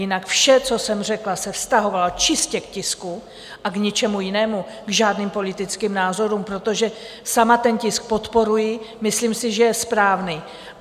Jinak vše, co jsem řekla, se vztahovalo čistě k tisku a k ničemu jinému, k žádným politickým názorům, protože sama ten tisk podporuji, myslím si, že je správný.